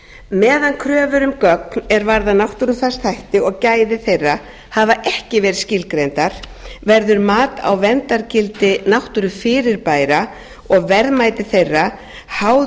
meðan kröfur um gögn er varða náttúrufarsþætti og gæði þeirra hafa ekki verið skilgreindar verður mat á verndargildi náttúrufyrirbæra og verðmæti þeirra háð